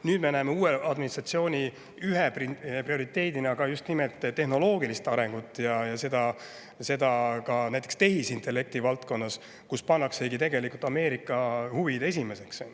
Nüüd me näeme, et uue administratsiooni üks prioriteet on just nimelt tehnoloogiline areng ja seda ka näiteks tehisintellekti valdkonnas, kus pannaksegi tegelikult Ameerika huvid esimeseks.